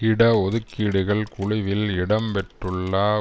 இட ஒதுக்கீடுகள் குழுவில் இடம் பெற்றுள்ள